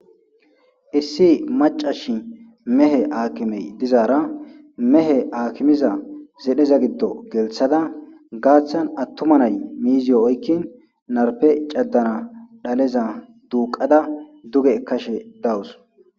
issi macashi mehe aakimey dizaara mehe aakimiza zedheza giddo gelthada gaaththan attuma nay miiziyo oykkin narpe caddana dhaleza duuqada duge kashe dawus